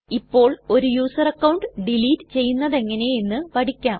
ഇപ്പോൾ ഒരു user account delete ചെയ്യുന്നതെങ്ങനെ എന്ന് പഠിക്കാം